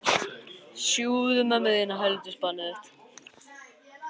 Sindri: Og ætlar þú að veiða stóran fisk?